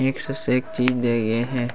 एक से एक चीज दें गे हे।